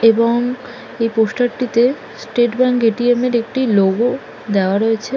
এবং এই পোস্টার -টি তে স্টেট ব্যাংক এ.টি.এম. -এর একটি লোগো দেওয়া রয়েছে।